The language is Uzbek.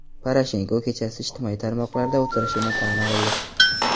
Poroshenko kechasi ijtimoiy tarmoqlarda o‘tirishini tan oldi.